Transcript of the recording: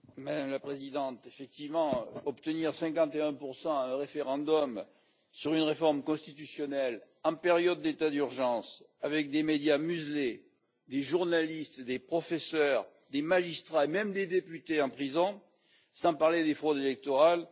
Madame la Présidente, effectivement, obtenir 51 à un référendum sur une réforme constitutionnelle en période d'état d'urgence, avec des médias muselés, des journalistes, des professeurs, des magistrats et même des députés en prison sans parler des fraudes électorales